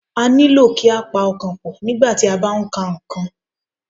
A nílò kí a pa ọkàn pọ̀, nígbà tí a bá ń ka nǹkan